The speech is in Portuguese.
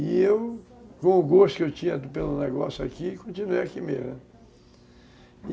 E eu, com o gosto que eu tinha pelo negócio aqui, continuei aqui mesmo.